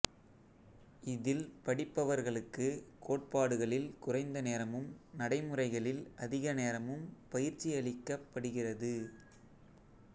இதில் படிப்பவர்களுக்கு கோட்பாடுகளில் குறைந்த நேரமும் நடைமுறைகளில் அதிக நேரமும் பயிற்சி அளிக்கப் படுகிறது